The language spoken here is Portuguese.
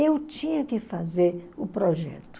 Eu tinha que fazer o projeto.